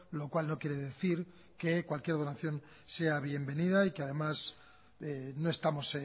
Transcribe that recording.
lo cual no quiere decir que cualquier donación sea bienvenida y que además no estamos